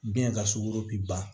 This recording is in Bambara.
Biyɛn ka sugɔro bi ban